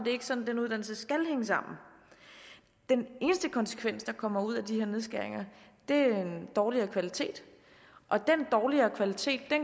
ikke sådan den uddannelse skal hænge sammen den eneste konsekvens der kommer ud af de her nedskæringer er dårligere kvalitet og den dårligere kvalitet